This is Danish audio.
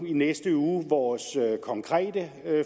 næste uge vores konkrete